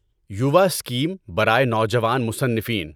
یووا scheme برائے نوجوان مصنفین